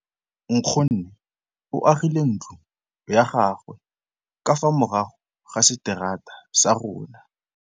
Nkgonne o agile ntlo ya gagwe ka fa morago ga seterata sa rona.